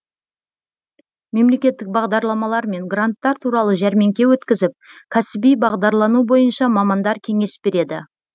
мемлекеттік бағдарламалар мен гранттар туралы жәрмеңке өткізіп кәсіби бағдарлану бойынша мамандар кеңес береді